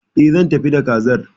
E, zan tafi da Kazar.